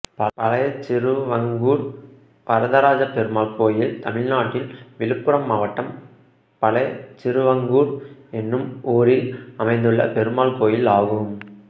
பழையசிறுவங்கூர் வரதராஜப்பெருமாள் கோயில் தமிழ்நாட்டில் விழுப்புரம் மாவட்டம் பழையசிறுவங்கூர் என்னும் ஊரில் அமைந்துள்ள பெருமாள் கோயிலாகும்